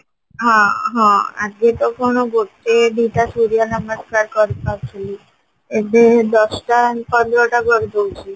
ହଁ ହଁ ଆଗେ ତ କଣ ଗୋଟେ ଦିଟା ସୂର୍ଯ୍ୟ ନମସ୍କାର କରିପାରୁଥିଲି ଏବେ ଦଶଟା ପନ୍ଦରଟା କରିଦଉଚି